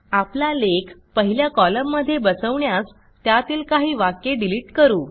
आपला लेख पहिल्या कॉलममध्ये बसवण्यास त्यातील काही वाक्ये डिलिट करू